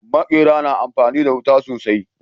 Maƙera na amfani da wuta sosai